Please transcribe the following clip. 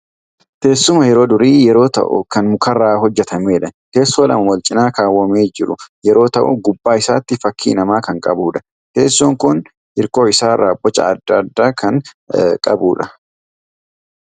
Teessuma yeroo durii yeroo ta'u, kan mukarraa hojjetamdha. Teessoo lama Walcinaa kaawwamee jiru yeroo ta'u gubbaa isaatti fakkii namaa kan qabudha. Teessoon Kun hirkoo isaarraa Boca adda addaa kan qabudha.